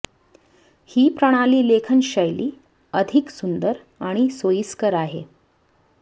ही प्रणाली लेखन शैली अधिक सुंदर आणि सोयीस्कर आहे